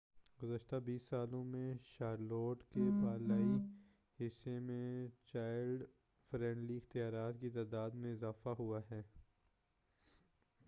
گزشتہ 20 سالوں میں شارلوٹ کے بالائی حصّے میں چائلڈ-فرینڈلی اختیارات کی تعداد میں اضافہ ہوا ہے